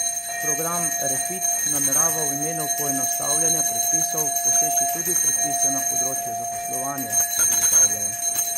Program Refit namerava v imenu poenostavljanja predpisov poseči tudi v predpise na področju zaposlovanja, ugotavljajo.